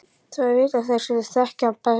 Það vita þeir sem þekkja hann best.